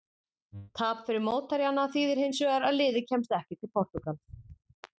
Tap fyrir mótherjana þýðir hins vegar að liðið kemst ekki til Portúgals.